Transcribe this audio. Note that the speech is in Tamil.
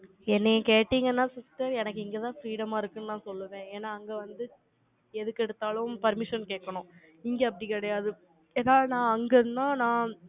என்னைய கேட்டீங்கன்னா, sister எனக்கு இங்கதான் freedom ஆ இருக்குன்னு நான் சொல்லுவேன். ஏன்னா, அங்க வந்து, எதுக்கெடுத்தாலும் permission கேட்கணும். இங்க அப்படி கிடையாது. ஏன்னா, நான் அங்க இருந்தும், நான்